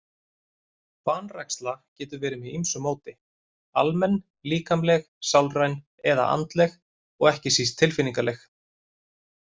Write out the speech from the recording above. Vanræksla getur verið með ýmsu móti, almenn, líkamleg, sálræn eða andleg og ekki síst tilfinningaleg.